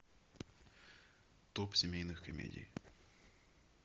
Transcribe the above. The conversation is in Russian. топ семейных комедий